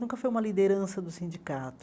Nunca foi uma liderança do sindicato.